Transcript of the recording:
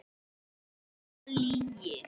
Enga lygi.